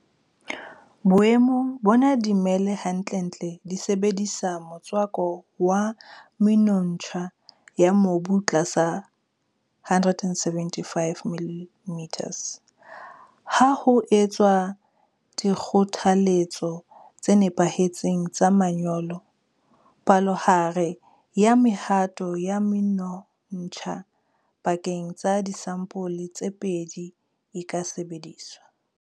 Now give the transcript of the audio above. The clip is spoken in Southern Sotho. Boemong bona dimela hantlentle di sebedisa motswako wa menontsha ya mobu tlasa 175 mm. Ha ho etswa dikgothaletso tse nepahetseng tsa manyolo, palohare ya mehato ya menontsha pakeng tsa disampole tse pedi e ka sebediswa.